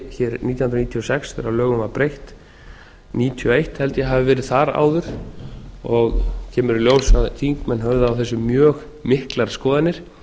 hér nítján hundruð níutíu og sex þegar lögum var breytt nítján hundruð níutíu og eitt held ég að það hafi verið þar áður og kemur í ljós að þingmenn höfðu á þessu mjög miklar skoðanir